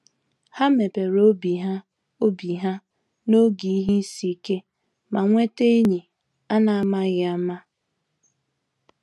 Há mepere obi ha obi ha n’oge ihe isi ike, ma nweta enyi an’amaghị ama.